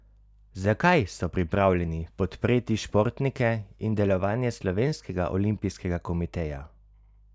Zakaj so pripravljeni podpreti športnike in delovanje slovenskega olimpijskega komiteja?